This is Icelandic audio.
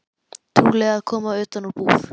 Trúlega að koma utan úr búð.